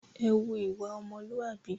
Ẹ hùwà ọmọlúàbí!